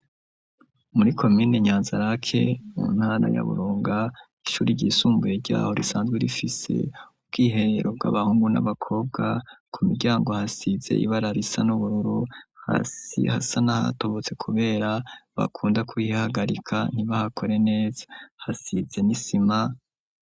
Muri komine nyanzarake untana ya burunga ishuri ryisumbuye ryaho risanzwe rifise ubw'ihereruka abahungu n'abakobwa ku miryango hasize ibara risa n'ubururu hasi hasa nahatobotse kubera bakunda kuyihagarika ntibahakore neza hasize n'isima.